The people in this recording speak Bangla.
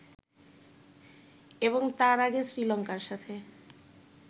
এবং তার আগে শ্রীলঙ্কার সাথে